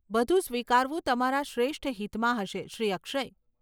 બધું સ્વીકારવું તમારા શ્રેષ્ઠ હિતમાં હશે, શ્રી અક્ષય.